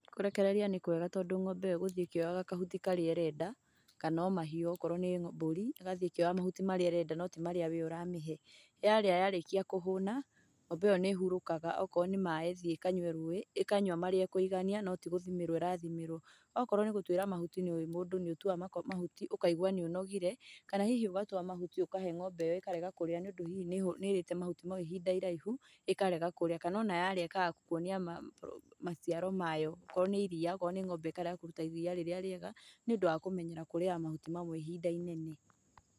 Kũrekereria nĩkwega tondũ ng'ombe ĩyo ĩgũthiĩ ĩkĩoyaga kahuti karĩa ĩrenda, kana o mahiũ akorwo no mbũri, ĩgathiĩ ĩkĩoyaga mahuti marĩa ĩrenda no ti marĩa we ũramĩhe. Yarĩ yarĩkia kũhũna, ng'ombe ĩyo nĩĩhurũkaga, akorwo nĩ maaĩ ĩthiĩ ĩkanyue rũĩ, ĩkanyua marĩa ĩkũigania, no tigũthimĩrwo ĩrathimĩrwo. Akorwo nĩgũtuĩra mahuti nĩũĩ mũndũ nĩũtuaga mahuti, ũkaigua nĩũnogire, kana hihi ũgatua mahuti ũkahe ng'ombe ĩyo ĩkarega kũrĩa nĩũndũ hihi nĩĩrĩte mahuti mau ihinda iraihu, ĩkarega kũrĩa, kana ona yarĩa ĩkaga gũkuonia maciaro mayo. Akorwo nĩ iria, akorwo nĩ ng'ombe ĩkarega kũruta iria rĩrĩa rĩega, nĩũndũ wa kũmenyera kũrĩaga mahuti mamwe ihinda inene.